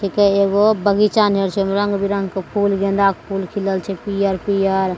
ठिके एगो बगीचा नियर छे रंग-बिरंगा फूल गेंदा के फूल खिलल छे पियर-पियर।